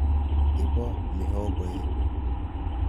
Iboo mihogoek.